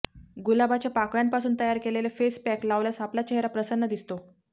गुलाबाच्या पाकळ्यांपासून तयार केलेले फेस पॅक लावल्यास आपला चेहरा प्रसन्न दिसतो